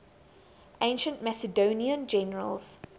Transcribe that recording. ancient macedonian generals